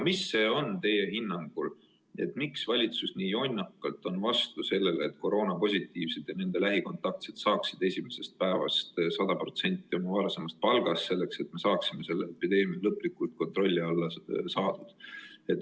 Miks teie hinnangul on valitsus nii jonnakalt vastu sellele, et koroonapositiivsetele ja nende lähikontaktsetele hüvitataks esimesest päevast alates 100% nende varasemast palgast, et me saaksime selle viiruse lõplikult kontrolli alla?